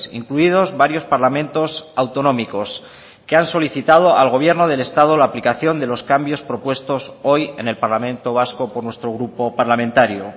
incluidos varios parlamentos autonómicos que han solicitado al gobierno del estado la aplicación de los cambios propuestos hoy en el parlamento vasco por nuestro grupo parlamentario